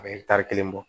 A bɛ kelen bɔ